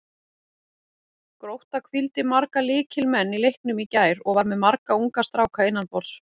Grótta hvíldi marga lykilmenn í leiknum í gær og var með marga unga stráka innanborðs.